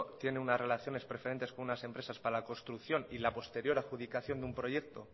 tiene unas relaciones preferentes con unas empresas para la construcción y la posterior adjudicación de un proyecto